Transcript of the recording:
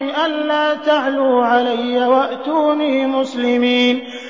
أَلَّا تَعْلُوا عَلَيَّ وَأْتُونِي مُسْلِمِينَ